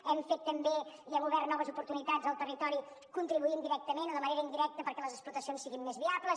hem fet també i hem obert noves oportunitats al territori contribuint directament o de manera indirecta perquè les explotacions siguin més viables